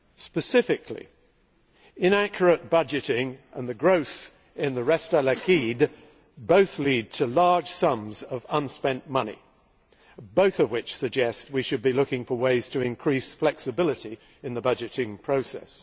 Specifically, inaccurate budgeting and the growth in the Reste Liquider' both lead to large sums of unspent money, both of which suggest that we should be looking for ways to increase flexibility in the budgeting process.